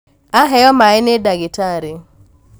aheo maĩ nĩ ndagĩtarĩ